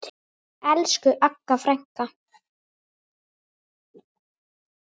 Elsku Agga frænka.